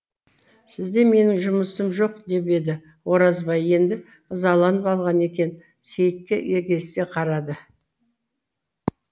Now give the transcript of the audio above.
сізде менің жұмысым жоқ деп еді оразбай енді ызаланып алған екен сейітке егесе қарады